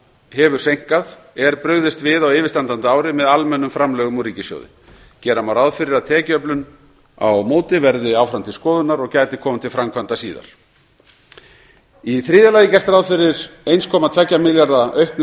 hefur seinkað er brugðist við á yfirstandandi ári með almennum framlögum úr ríkissjóði gera má ráð fyrir að tekjuöflun á móti verði áfram til skoðunar og gæti komið til framkvæmda síðar í þriðja lagi er gert ráð fyrir eins komma tveggja milljarða króna auknu